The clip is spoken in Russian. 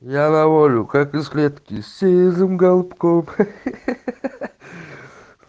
я на волю как из клетки сизым голубком ха ха ха